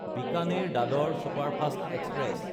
বিকানেৰ–দাদৰ superfast express